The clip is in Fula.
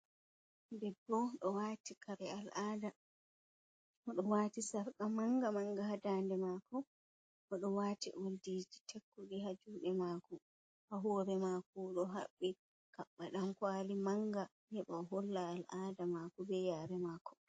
Debbo o wati kare al'ada oɗo wati sarka manga manga ha dande mako o do wati oldiji tekkugi ha jude mako ha hore mako ɗo habbi kabba ɗam kwali manga heba o holla al'ada mako be yare mako.